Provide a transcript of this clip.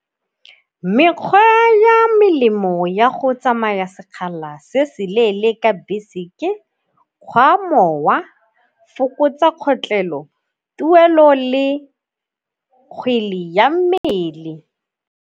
Mekgwa ya melemo ya go tsamaya sekgala se se leele ka bese ke kgwa mowa, fokotsa kgotlelelo, tuelo le kgwele ya mmele.